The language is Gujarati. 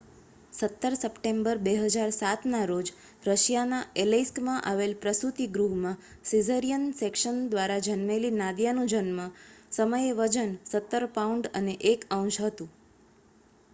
17 સપ્ટેમ્બર 2007ના રોજ રશિયાના ઍલૈસ્કમાં આવેલા પ્રસૂતિ ગૃહમાં સિઝેરિયન સેક્શન દ્વારા જન્મેલી નાદિયાનું જન્મ સમયે વજન 17 પાઉન્ડ અને 1 ઔંસ હતું